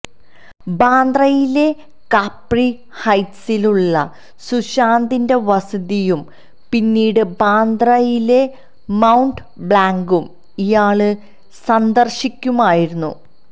ബാന്ദ്രയിലെ Capri ഹൈറ്റ്സിലുള്ള സുശാന്തിന്റെ വസതിയും പിന്നീട് ബാന്ദ്രയിലെ മൌണ്ട് ബ്ലാങ്കും ഇയാള് സന്ദര്ശിക്കുമായിരുന്നു